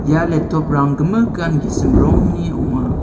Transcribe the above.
ia laptop-rang gimikan gisim rongni ong·a.